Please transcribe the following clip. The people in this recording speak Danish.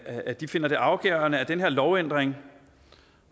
at de finder det afgørende at den her lovændring